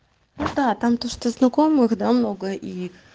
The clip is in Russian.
там то что знакомых да много и